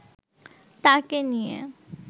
তাকে নিয়ে